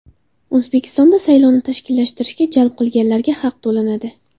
O‘zbekistonda saylovni tashkillashtirishga jalb qilinganlarga haq to‘lanadi.